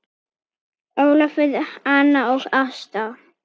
Ólafur, Anna og Ásta.